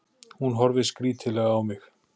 Hún horfir skrítilega á mig.